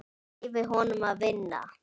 Ég leyfi honum að vinna.